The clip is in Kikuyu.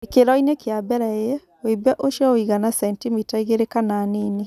Gĩkĩro-inĩ kĩa mbere A, wimbe ũcio ũigana centimita igĩrĩ kana nini.